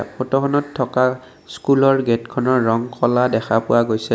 ফটোখনত থকা স্কুলৰ গেটখনৰ ৰং ক'লা দেখা পোৱা গৈছে।